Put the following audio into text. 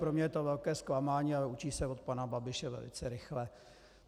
Pro mě je to velké zklamání, ale učí se od pana Babiše velice rychle.